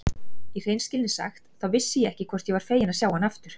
Í hreinskilni sagt, þá vissi ég ekki hvort ég var feginn að sjá hana aftur.